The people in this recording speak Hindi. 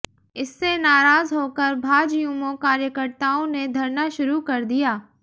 इससे नाराज होकर भाजयुमो कार्यकर्ताओं ने धरना शुरू कर दिया